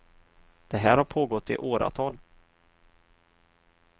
Det här har pågått i åratal.